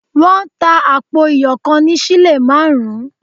Wọ́n tà àpò iyọ̀ kan ní sílè márùn-ún